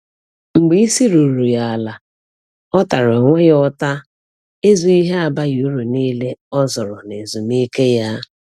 Mgbe isi ruru ya ala, ọ tara onwe ya ụta ịzụ ihe abaghi uru niile o zụrụ na ezumike ya.